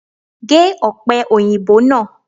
Gé òpè òyìnbó náà